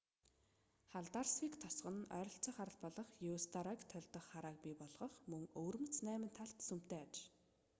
халдарсвик тосгон нь ойролцоох арал болох еусторойг тольдох харааг бий болгох мөн өвөрмөц найман талт сүмтэй аж